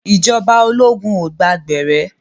Ìjọba ológun ò gba gbẹ̀rẹ́.